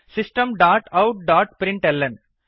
system dot out dot println